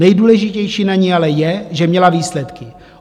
Nejdůležitější na ní ale je, že měla výsledky.